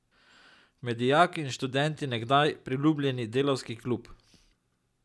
Med dijaki in študenti nekdaj priljubljeni Delavski klub.